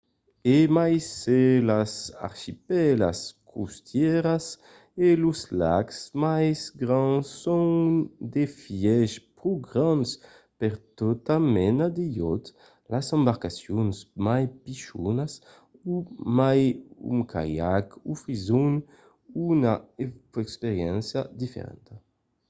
e mai se las archipèlas costièras e los lacs mai grands son d'efièch pro grands per tota mena de iòt las embarcacions mai pichonas o mai un caiac ofrisson una experiéncia diferenta